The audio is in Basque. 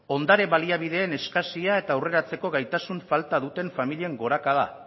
ondare baliabideen eskasia eta aurreratzeko gaitasun falta duten familien gorakada